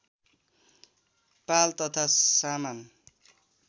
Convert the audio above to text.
पाल तथा सामान